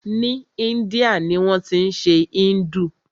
Ni Índia ni wọ́n tí ń ṣe Hindu.